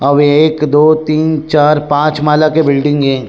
अउ ये एक दो तीन चार पांच माला के बिल्डिंग हे।